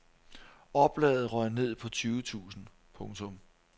Oplaget røg ned på tyve tusind. punktum